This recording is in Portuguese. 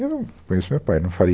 E eu conheço o meu pai, não farei